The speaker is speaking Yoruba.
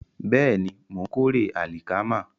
Bẹ́ẹ̀ni, mò ń kórè àlìkámà